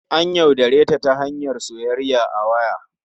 An yaudare ta ta hanyar soyayya a waya.